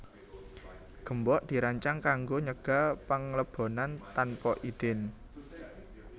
Gembok dirancang kanggo nyegah panglebonan tanpa idin